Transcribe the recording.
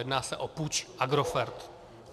Jedná se o puč Agrofert.